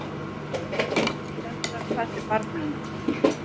Höfðar það til barnanna?